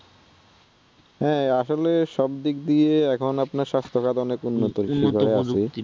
হ্যাঁ আসলে সব দিক দিয়ে এখন আপনার স্বাস্থ্যখাত অনেক উন্নত